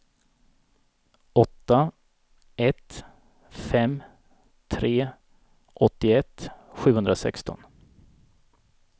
åtta ett fem tre åttioett sjuhundrasexton